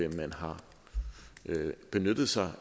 at man har benyttet sig